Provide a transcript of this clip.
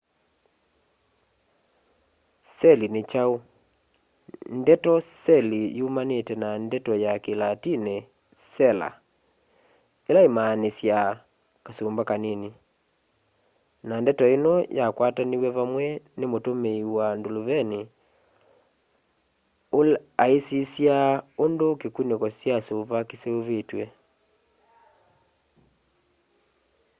seli ni kyau ndeto seli yumanite na ndeto ya kilatini sela ila imaanisyaa kasumba kanini na ndeto ino yakwataniw'e vamwe ni mutumii wa nduluvini aisisya undu kikuniko kya suva kiseuvitwe